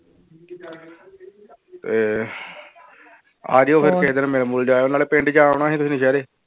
ਇਹ ਆ ਜਾਇਓ ਫਿਰ ਕਿਸੇ ਦਿਨ ਮਿਲ ਮੁਲ ਜਾਇਓ ਨਾਲੇ ਪਿੰਡ ਜਾ ਆਉਣਾ ਸੀ ਤੁਸੀਂ